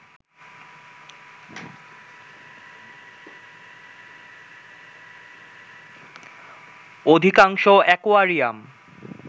অধিকাংশ অ্যাকোয়ারিয়াম